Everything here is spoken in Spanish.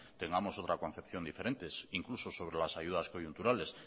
tengamos otra concepción diferente incluso sobre las ayudas coyunturales